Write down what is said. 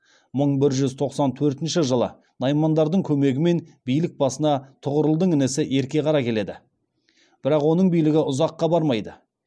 мың бір жүз тоқсан төртінші жылы наймандардың көмегімен билік басына тұғырылдың інісі ерке қара келеді бірақ оның билігі ұзаққа бармайды